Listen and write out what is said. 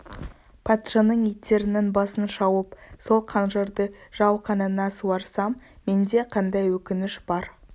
патшаның иттерінің басын шауып сол қанжарды жау қанына суарсам менде қандай өкініш бар